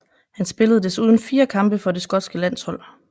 Han spillede desuden fire kampe for det skotske landshold